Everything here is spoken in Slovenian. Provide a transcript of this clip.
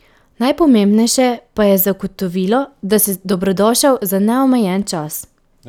Najpomembnejše pa je zagotovilo, da si dobrodošel za neomejen čas.